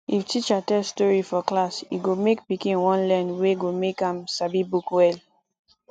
if teacher tell stori for class e go make pikin wan learn wey go make am sabi book well